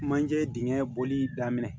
Manje dingɛn bɔli daminɛ